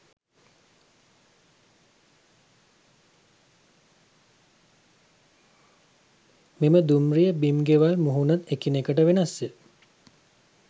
මෙම දුම්රිය බිම් ගෙවල් මුහුණත් එකිනෙකට වෙනස්ය.